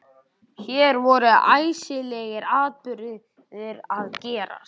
Hér voru æsilegir atburðir að gerast.